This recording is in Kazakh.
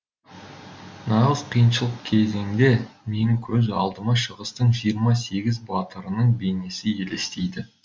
нағыз қиыншылық кезеңде менің көз алдыма шығыстың жиырма сегіз батырының бейнесі елестейді